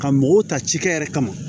Ka mɔgɔw ta cikɛ yɛrɛ kama